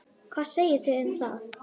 Hvað segiði um það?